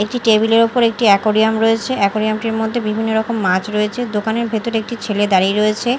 একটি টেবিল -এর ওপর একটি অ্যাকুরিয়াম রয়েছে অ্যাকুরিয়াম -টির মধ্যে বিভিন্নরকম মাছ রয়েছে দোকানের ভেতর একটি ছেলে দাঁড়িয়ে রয়েছে।